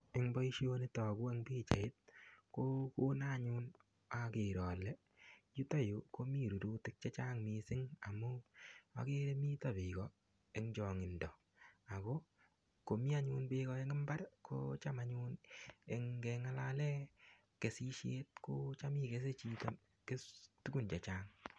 Eng boisioni togu en pichait ko konon anyun ager ale yuto anyun komi rurutik Che Chang mising amun agere miten Bek en chaangindo ago komi bek anyun en mbar ko chang anyun ngengalalen kesisiet kocham igese chito tugun Che Chang